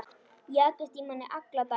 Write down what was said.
Jagast í manni alla daga.